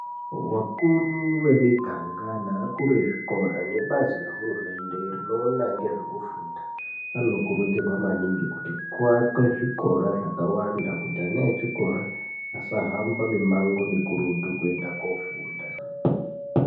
Vakuru vemiganga nevakuru vezvikora nevebazi nehurumende vanoona ngezvekufunda vano kurudzirwa maningi kuti avake zvikora zvakawanda kuti ana echikora asa hamaba mumango mukurutu kuenda kunofunda.